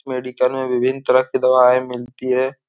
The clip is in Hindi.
मेडिकल में विभिन्न तरह की दवाएं मिलती हैं।